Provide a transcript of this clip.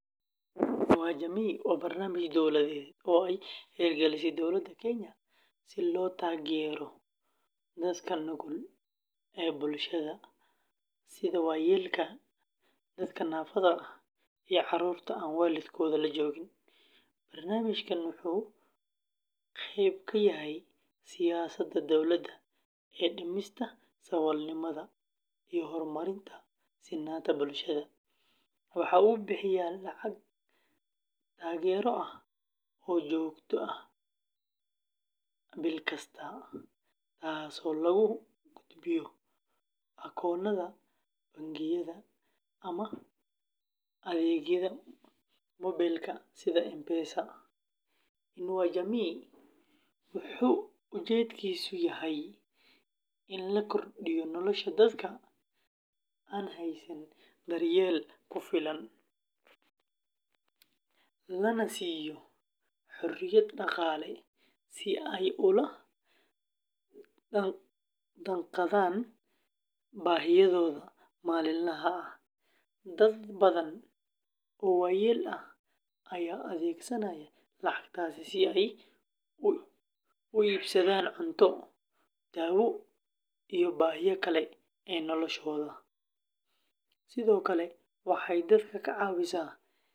Inua Jamii waa barnaamij dowladeed oo ay hirgelisay Dowladda Kenya si loo taageero dadka nugul ee bulshada sida waayeelka, dadka naafada ah, iyo carruurta aan waalidkood la joogin. Barnaamijkan wuxuu qayb ka yahay siyaasadda dowladda ee dhimista saboolnimada iyo horumarinta sinnaanta bulshada. Waxaa uu bixiyaa lacag taageero ah oo joogto ah bil kasta, taasoo lagu gudbiyo akoonnada bangiyada ama adeegyada moobilka sida M-Pesa. Inua Jamii wuxuu ujeedkiisu yahay in la kordhiyo nolosha dadka aan haysan daryeel ku filan, lana siiyo xorriyad dhaqaale si ay ula jaanqaadaan baahiyahooda maalinlaha ah. Dad badan oo waayeel ah ayaa adeegsanaya lacagtaas si ay u iibsadaan cunto, daawo, iyo baahiyaha kale ee nolosha. Sidoo kale.